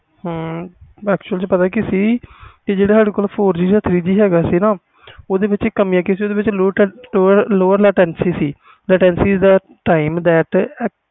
actually ਵਿਚ ਪਤਾ ਕਿ ਸੀ ਜਿਹੜੇ ਸਾਡੇ ਕੋਲ three G ਜਾ FOUR G ਹੈ ਗਏ ਸੀ ਨਾ ਓਹਦੇ ਵਿਚ ਕਮੀਆਂ ਕਿਸੇ ਦੇ ਵਿਚ LOAD lower latency ਦੀ ਕਮੀ ਸੀ